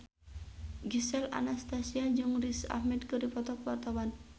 Gisel Anastasia jeung Riz Ahmed keur dipoto ku wartawan